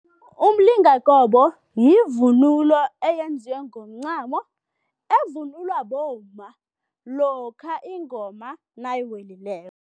Umlingakobe yivunulo eyenziwe ngomncamo evunulwa bomma lokha ingoma nayiwelileko.